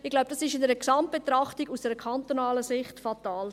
Ich glaube, dies ist aus einer Gesamtbetrachtung, aus kantonaler Sicht, fatal.